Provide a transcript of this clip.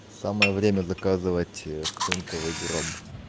самое время заказывать цинковый гроб